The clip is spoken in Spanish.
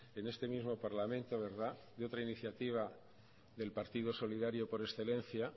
en este mismo parlamento verdad de otra iniciativa del partido solidario por excelencia